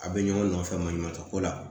A bɛ ɲɔgɔn nɔfɛ maɲuman tɛ ko la